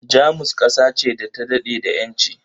Jamus ƙasa ce da ta daɗe da ƴanci